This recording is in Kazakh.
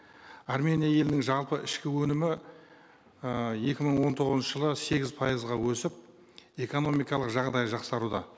армения елінің жалпы ішкі өнімі э екі мың он тоғызыншы жылы сегіз пайызға өсіп экономикалық жағдайы жақсаруда